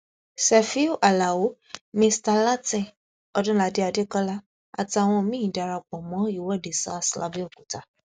sefiu alao mista látìn ọdúnládé adékọlá àtàwọn míín darapọ mọ ìwọde sars làbẹòkúta